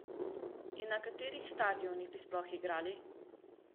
In na katerih stadionih bi sploh igrali?